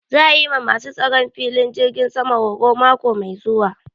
Za a yi ma ma su tsaron filin jirgin sama horo mako mai zuwa